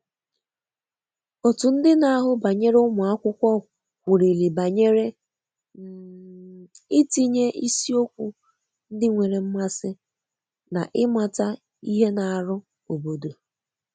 otu ndi na ahu banyere ụmụakwụkwọ kwụriri banyere um itinye isiokwu ndi nwere mmasi na imata ihe na arụ obodo